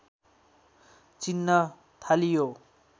चिन्न थालियो